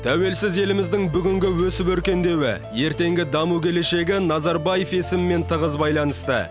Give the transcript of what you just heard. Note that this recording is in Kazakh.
тәуелсіз еліміздің бүгінгі өсіп өркендеуі ертеңгі даму келешегі назарбаев есімімен тығыз байланысты